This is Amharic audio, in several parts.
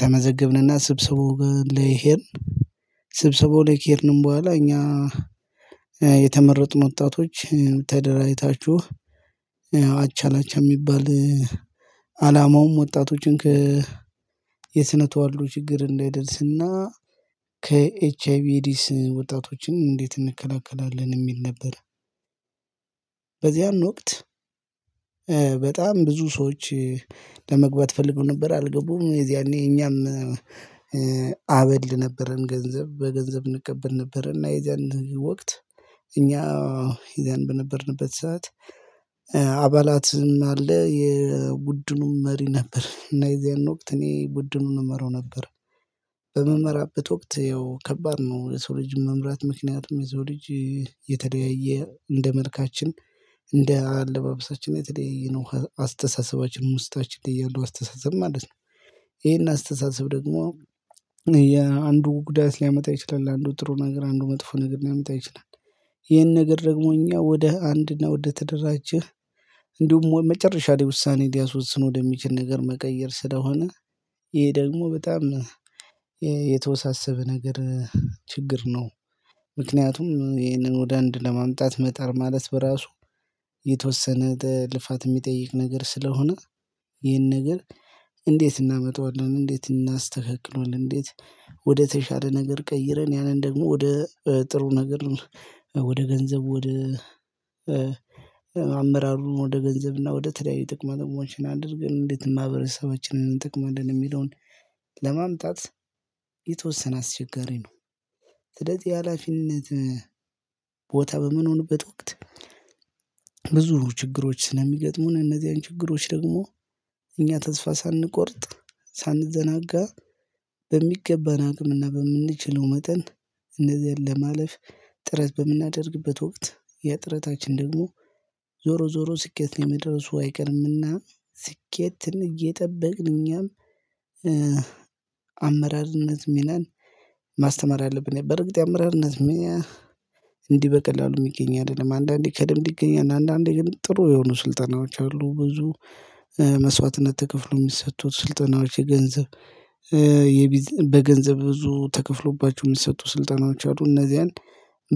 ተመዘገብንና ስብሰባው ላይ ሄድን። ስብሰባው ከሄድን በኋላ እኛ የተመረጡ ወጣቶች ተደራጅታችሁ። አቻላቻ የሚባል አላማውም ወጣቶችን የስነ ተዋሉ ችግር እንዳይደርስና ከኤች አይ ቪ ኤድስ ወጣቶችን እንዴት እንከላከላለን የሚል ነበር። በዚያን ወቅት በጣም ብዙ ሰዎች። ለመግባት ፈልገው ነበር አልገቡም የዚያኔ እኛም። አበል ነበረን ገንዘብ በገንዘብ እንቀበል ነበርና የዛን ወቅት። እኛ የዛን በነበርንበት ሰዓት። አባላትም አለ የቡድኑም መሪ ነበር እና እዚያን ወቅት እኔ ቡድኑን እመራው ነበር። በመመራበት ወቅት ያው ከባድ ነው የሰው ልጅ መምራት ምክንያትም የሰው ልጅ። የተለያየ እንደ መልካችን እንደ አለባበሳችን የተለያየ አስተሳሰባችን ነው ውስጣችን እያንዳንዱ አስተሳሰብ ማለት ነው። ይሄን አስተሳሰብ ደግሞ የአንዱ ጉዳት ሊያመጣ ይችላል አንዱ ጥሩ ነገር አንዱ መጥፎ ነገር ሊያመጣ ይችላል። ይሄን ነገር ደግሞ እኛ ወደ አንድ ነው ወደ ተደራጀህ። እንዲሁም መጨረሻ ላይ ውሳኔ ሊያስወጽን ወደሚችል ነገር መቀየር ስለሆነ። ይሄ ደግሞ በጣም የተወሳሰበ ነገር ችግር ነው። ምክንያቱም ይህንን ወደ አንድ ለማምጣት መጣር ማለት በራሱ የተወሰነ ልፋት የሚጠይቅ ነገር ስለሆነ። ይህን ነገር እንዴት እናመጣዋለን? እንዴት እናስተካክለዋለን? እንዴት ወደ ተሻለ ነገር ቀይረን ያንን ደግሞ ወደ ጥሩ ነገር። ወደ ገንዘብ ወደ አመራሩን ወደ ገንዘብና ወደ ተለያዩ ጥቅማ ጥቅሞች አድርገን እንዴት ማህበረሰባችን እንጠቅማለን የሚለውን ለማምጣት የተወሰነ አስቸጋሪ ነው። ስደት የሀላፊነት ቦታ በምንሆንበት ወቅት። ብዙ ችግሮች ስለሚገጥሙን እነዚህን ችግሮች ደግሞ እኛ ተስፋ ሳንቆርጥ ሳንዘናጋ። በሚገባን አቅምና በምንችለው መጠን እነዚህን ለማለፍ ጥረት በምናደርግበት ወቅት የጥረታችን ደግሞ ዞሮ ዞሮ ስኬት ላይ የመድረሱ አይቀርምና። ስኬትን እየጠበቅን እኛም አመራርነት ሚናን ማስተማር ያለብን በርግጥ አመራርነት በቀላሉ የሚገኝ አይደለም። አንዳንዴ ከደም ይገኛል አንዳንዴ ግን ጥሩ የሆኑ ስልጠናዎች አሉ ብዙ መስዋዕትነት ተከፍሎ የሚሰጡት ስልጠናዎች የገንዘብ በገንዘብ ብዙ ተከፍሎባችሁ የሚሰጡ ስልጠናዎች አሉ። እነዚህ አንድ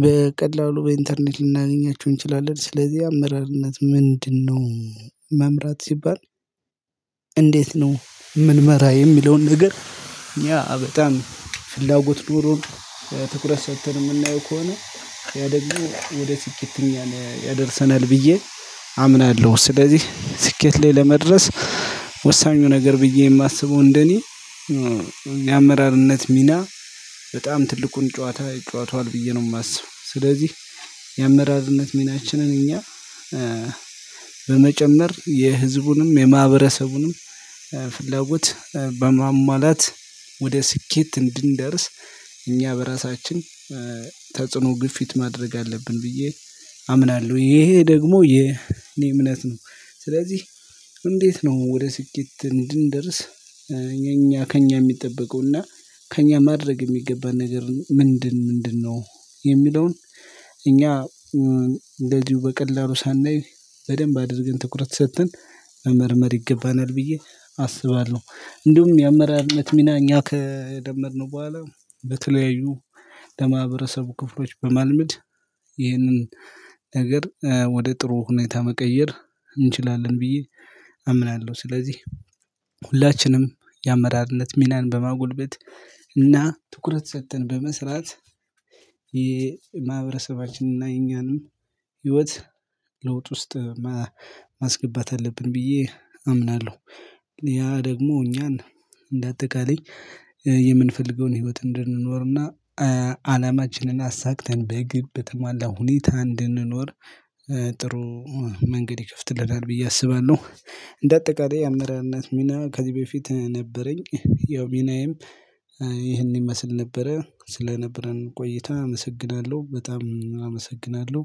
በቀላሉ በኢንተርኔት ልናገኛችሁ እንችላለን። ስለዚህ አመራርነት ምንድነው? መምራት ሲባል። እንዴት ነው የምንመራ የሚለውን ነገር ያ በጣም ፍላጎት ኖሮን ትኩረት ሰጥተን የምናየው ከሆነ ያደርጉ ወደ ስኬት። ያደርሰናል ብዬ አምናለሁ። ስለዚህ ስኬት ላይ ለመድረስ ወሳኙ ነገር ብዬ የማስበው እንደኔ የአመራርነት ሚና በጣም ትልቁን ጨዋታ ይጨዋቷል ብዬ ነው የማስበው። ስለዚህ የአመራርነት ሚናችንን እኛ በመጨመር የህዝቡንም የማህበረሰቡንም ለውጥ በማሟላት ወደ ስኬት እንድንደርስ እኛ በራሳችን ተጽዕኖ ግፊት ማድረግ አለብን ብዬ አምናለሁ ይሄ ደግሞ የኔ እምነት ነው። ስለዚህ እንዴት ነው ወደ ስኬት እንድንደርስ የእኛ ከእኛ የሚጠበቀው እና ከእኛ ማድረግ የሚገባን ነገር ምንድን ምንድነው? የሚለውን እኛ እንደዚሁ በቀላሉ ሳናይ በደንብ አድርገን ትኩረት ሰጥተን መመርመር ይገባናል ብዬ አስባለሁ። እንዲሁም የአመራርነት ሚና እኛ ከለመድነው በኋላ በተለያዩ ለማህበረሰቡ ክፍሎች በማልመድ ይህንን ነገር ወደ ጥሩ ሁኔታ መቀየር እንችላለን ብዬ አምናለሁ። ስለዚህ ሁላችንም የአመራርነት ሚናን በማጎልበት እና ትኩረት ሰጥተን በመስራት የማህበረሰባችንና የኛንም ህይወት ለውጥ ውስጥ ማስገባት አለብን ብዬ አምናለሁ። ያ ደግሞ እኛን እንደ አጠቃላይ የምንፈልገውን ህይወት እንድንኖርና አላማችንን አሳክተን በግብ በተሟላ ሁኔታ እንድንኖር ጥሩ መንገድ ይከፍትልናል ብዬ አስባለሁ። እንደ አጠቃላይ አመራርነት ሚና ከዚህ በፊት ነበረኝ ያው ሚናዬም ይህን ይመስል ነበረ ስለነበረን ቆይታ አመሰግናለሁ በጣም አመሰግናለሁ።